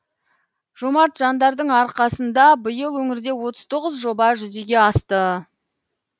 жомарт жандардың арқасында биыл өңірде отыз тоғыз жоба жүзеге асты